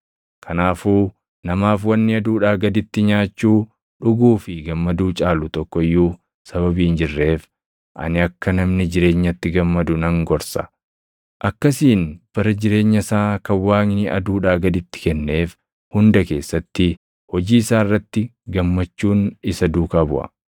Kanaafuu namaaf wanni aduudhaa gaditti nyaachuu, dhuguu fi gammaduu caalu tokko iyyuu sababii hin jirreef ani akka namni jireenyatti gammadu nan gorsa. Akkasiin bara jireenya isaa kan Waaqni aduudhaa gaditti kenneef hunda keessatti hojii isaa irratti gammachuun isa duukaa buʼa.